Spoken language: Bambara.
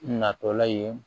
Natɔla ye